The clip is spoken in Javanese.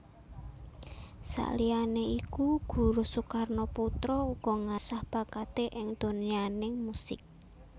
Saliyane iku Guruh Soekarnoputra uga ngasah bakaté ing donyaning musik